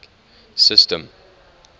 system